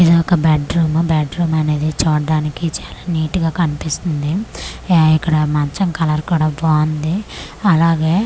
ఇది ఒక bedroom bedroom అనేది చూటానికి చాలా నీటగా కనిపిస్తుంది ఎ ఇక్కడ మంచం కలర్ కూడా బాగుంది అలాగే.